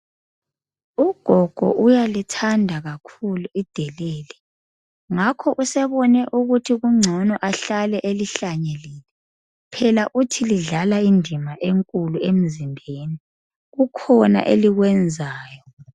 Ugogo uyalithanda kakhulu idelele ngakho usebone ukuthi kungcono ahlale elihlanyelile phela uthi lidlala indima enkulu emzimbeni. Kukhona elikwenzayo.